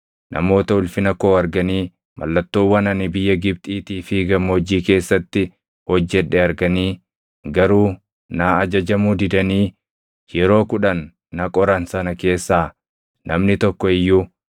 namoota ulfina koo arganii, mallattoowwan ani biyya Gibxiitii fi gammoojjii keessatti hojjedhe arganii garuu naa ajajamuu didanii yeroo kudhan na qoran sana keessaa namni tokko iyyuu,